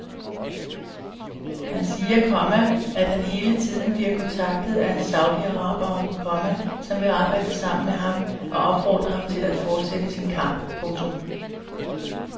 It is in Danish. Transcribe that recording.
Han siger, komma at han hele tiden bliver kontaktet af saudiarabere, komma som vil arbejde sammen med ham og opfordrer ham til at fortsætte sin kamp. punktum